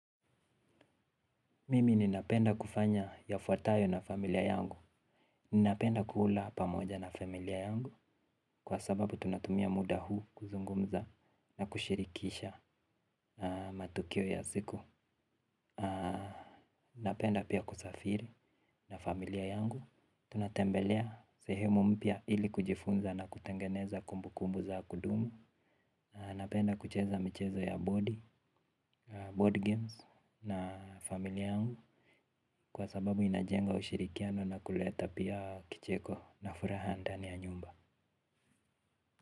Mimi ninapenda kufanya yafuatayo na familia yangu. Ninapenda kula pamoja na familia yangu. Kwa sababu tunatumia muda huu kuzungumza na kushirikisha matukio ya siku. Napenda pia kusafiri na familia yangu. Tunatembelea sehemu mpya ili kujifunza na kutengeneza kumbu kumbu za kudumu. Napenda kucheza mchezo ya board games na familia yangu. Kwa sababu inajenga ushirikiano na kuleta pia kicheko na furaha ndani ya nyumba.